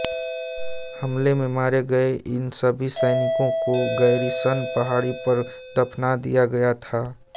हमले में मारे गये इन सभी सैनिकों को गैरीसन पहाड़ी पर दफना दिया गया था